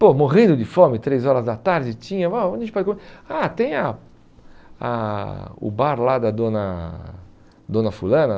Pô, morrendo de fome, três horas da tarde, tinha... Ah, tem a a o bar lá da dona dona fulana?